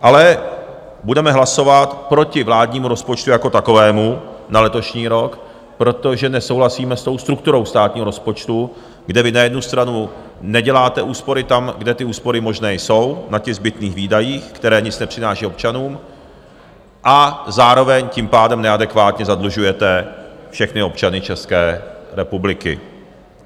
Ale budeme hlasovat proti vládnímu rozpočtu jako takovému na letošní rok, protože nesouhlasíme s tou strukturou státního rozpočtu, kde vy na jednu stranu neděláte úspory tam, kde ty úspory možné jsou, na těch zbytných výdajích, které nic nepřinášejí občanům, a zároveň tím pádem neadekvátně zadlužujete všechny občany České republiky.